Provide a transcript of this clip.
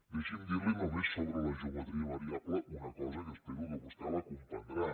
deixi’m dir li només sobre la geometria variable una cosa que espero que vostè la comprendrà